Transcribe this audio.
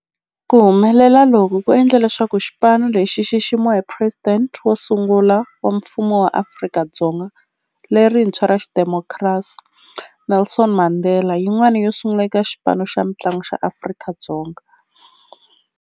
Ku humelela loku ku endle leswaku xipano lexi xi xiximiwa hi Presidente wo sungula wa Mfumo wa Afrika-Dzonga lerintshwa ra xidemokirasi, Nelson Mandela, yin'wana yo sungula eka xipano xa mintlangu xa Afrika-Dzonga.